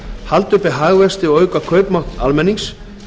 halda uppi hagvexti og auka kaupmátt almennings